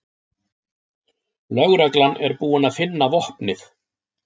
Lögreglan er búin að finna vopnið